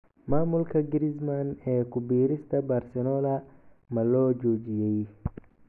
Maamulka Griezmann ee ku biirista Barcelona ma loo joojiyay?